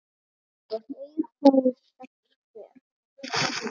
tveir fái sex hver